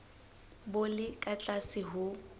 bo le ka tlase ho